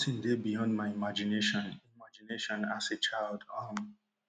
nothing dey beyond my imagination imagination as a child um